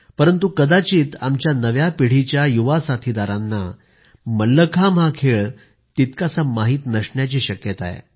परंतु कदाचित आमच्या नव्या पिढीचे युवक साथीदारांना मल्लखांब हा खेळ तितकासा माहित नसण्याची शक्यता आहे